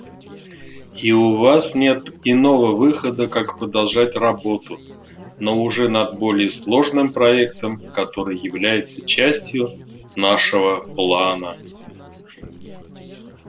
и у вас нет иного выхода как продолжать работу но уже над более сложным проектом который является частью нашего плана